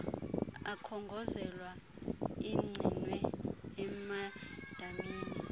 akhongozelwa agcinwe emadamini